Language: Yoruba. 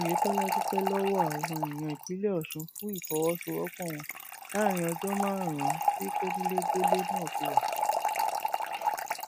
oyetola dúpẹ lọwọ àwọn èèyàn ìpínlẹ ọsùn fún ìfọwọsowọpọ wọn láàrin ọjọ márùnún tí kọnilẹgbẹlẹ náà fi wà